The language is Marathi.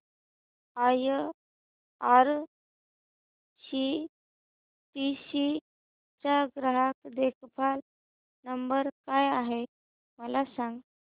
आयआरसीटीसी चा ग्राहक देखभाल नंबर काय आहे मला सांग